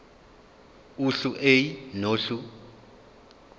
uhlu a nohlu